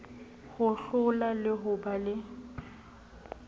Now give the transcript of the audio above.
hohlola le ho ba le